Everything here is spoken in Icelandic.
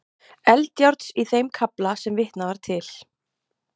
Eldjárns í þeim kafla sem vitnað var til.